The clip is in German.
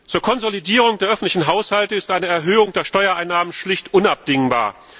Zur Konsolidierung der öffentlichen Haushalte ist eine Erhöhung der Steuereinnahmen schlicht unabdingbar.